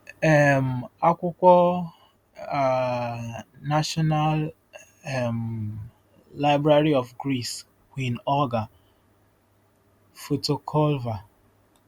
um akwụkwọ: um National um Library of Greece; Queen Olga: Foto Culver